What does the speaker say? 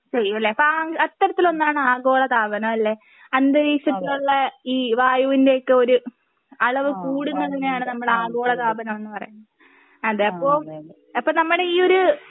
ചെയ്യുമല്ലേ അപ്പൊ അത്തരത്തിലൊന്നാണ് ആഗോളതാപനം അല്ലേ? അന്തരീക്ഷത്തിലുള്ള ഈ വായുവിൻ്റെ ഒക്കെ ഒരു അളവ് കൂടുന്നതിനെയാണ് നമ്മൾ ആഗോളതാപനം എന്ന് പറയുന്നത്. അതെ അപ്പോ അപ്പൊ നമ്മുടെ ഈ ഒര്